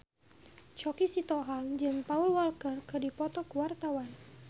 Choky Sitohang jeung Paul Walker keur dipoto ku wartawan